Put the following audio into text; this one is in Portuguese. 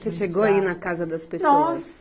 Você chegou a ir na casa das pessoas?